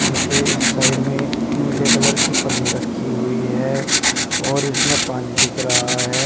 उनके इस साइड में नीले कलर की पन्नी रखी हुई है और इसमें पानी दिख रहा है।